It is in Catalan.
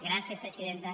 gràcies presidenta